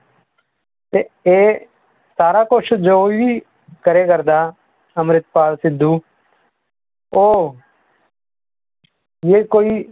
ਤੇ ਇਹ ਸਾਰਾ ਕੁਛ ਜੋ ਵੀ ਕਰੇ ਕਰਦਾ ਅੰਮ੍ਰਿਤਪਾਲ ਸਿੱਧੂ ਉਹ ਜੇ ਕੋਈ,